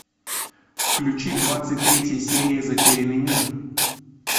включи двадцать третья серия затерянный мир